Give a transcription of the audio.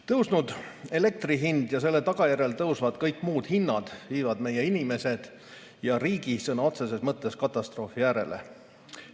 Tõusnud elektri hind ja selle tagajärjel tõusvad kõik muud hinnad viivad meie inimesed ja riigi sõna otseses mõttes katastroofi äärele.